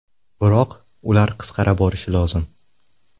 Biroq ular qisqara borishi lozim.